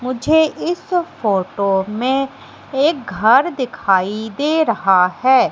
मुझे इस फोटो में एक घर दिखाई दे रहा है।